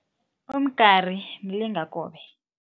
Umgari mlingakobe.